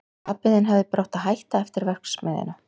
Pabbi þinn hefði bara átt að hætta eftir verksmiðjuna.